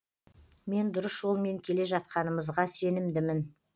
мен дұрыс жолмен келе жатқанымызға сенімдімін